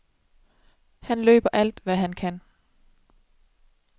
Han løber alt, hvad han kan.